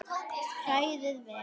Hrærið vel.